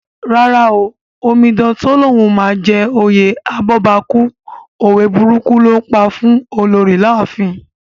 Rárá o, Omidan tó lóun máa jẹ oyè abọ́bakú, òwe burúkù ló ńpa fún Olorì láàfin